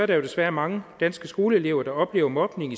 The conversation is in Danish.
der desværre mange danske skoleelever der oplever mobning